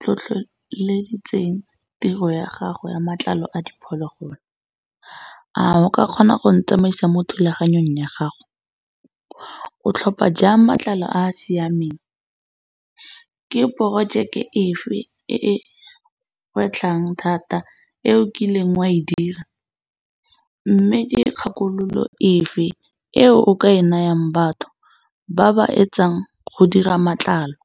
tlhotlheleditseng tiro ya gago ya matlalo a diphologolo? A o ka kgona go ntsamaisa mo thulaganyong ya gago? O tlhopha jang matlalo a siameng? Ke projeke efe e e kgwetlhang thata e o kileng wa e dira? Mme ke kgakololo efe e o ka e nayang batho ba ba etsang go dira matlalo?